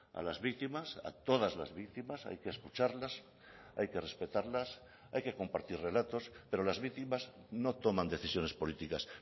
a las víctimas a todas las víctimas hay que escucharlas hay que respetarlas hay que compartir relatos pero las víctimas no toman decisiones políticas